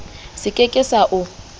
se ke ke sa o